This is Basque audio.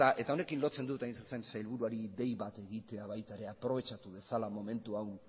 eta honekin lotzen dut hain zuzen sailburuari dei bat egitea baita ere aprobetxatu dezala momentu hau